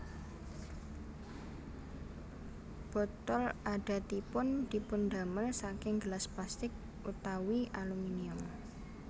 Botol adatipun dipundamel saking gelas plastik utawi aluminium